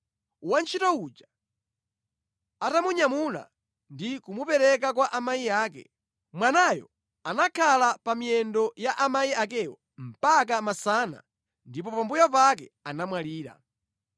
Wantchito uja atamunyamula ndi kumupereka kwa amayi ake. Mwanayo anakhala pa miyendo ya amayi akeyo mpaka masana, ndipo pambuyo pake anamwalira.